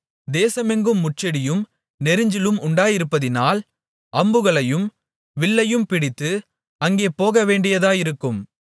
தேசமெங்கும் முட்செடியும் நெரிஞ்சிலும் உண்டாயிருப்பதினால் அம்புகளையும் வில்லையும் பிடித்து அங்கே போகவேண்டியதாயிருக்கும்